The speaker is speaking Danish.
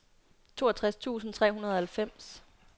toogtres tusind tre hundrede og halvfems